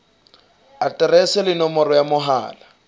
aterese le nomoro ya mohala